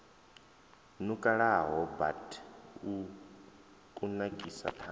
nukalaho bud u kunakisa ṱhanga